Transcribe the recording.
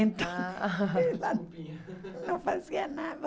Então... Ah... Ela não fazia nada.